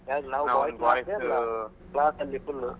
ಯಾರು ನಾವು boys ಮಾತ್ರಾನಾ ಅಲ್ಲ class ಅಲ್ಲಿ full